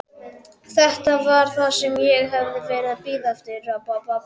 Þetta var það sem ég hafði verið að bíða eftir.